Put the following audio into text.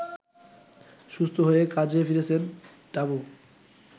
সুস্থ হয়ে কাজে ফিরেছেন টাবু